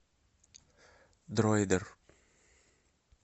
дроидер